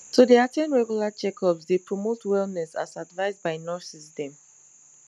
to dey at ten d regular checkups dey promote wellness as advised by nurses dem